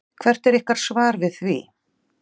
Hvert er ykkar svar við því?